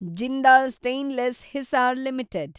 Jindal stainless Hisar limited